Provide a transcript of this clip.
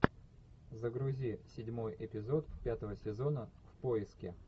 загрузи седьмой эпизод пятого сезона в поиске